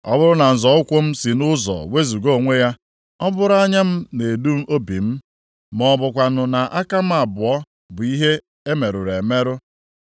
Ọ bụrụ na nzọ ụkwụ m si nʼụzọ wezuga onwe ya, ọ bụrụ anya m na-edu obi m, ma ọ bụkwanụ na aka m abụọ bụ ihe e merụrụ emerụ,